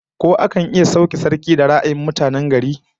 Ko akan iya sauke sarki da ra'ayin mutane gari kurum?